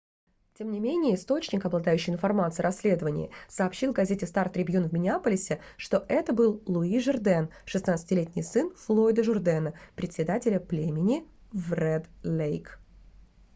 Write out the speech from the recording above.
тем не менее источник обладающий информацией о расследовании сообщил газете star-tribune в миннеаполисе что это был луи журден 16-летний сын флойда журдена председателя племени в ред-лейк